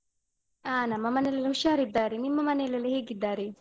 ಹಾ ನಮ್ಮ ಮನೆಯಲ್ಲೆಲ್ಲ ಹುಷಾರಿದ್ದಾರೆ, ನಿಮ್ಮ ಮನೆಯಲ್ಲೆಲ್ಲ ಹೇಗಿದ್ದಾರೆ?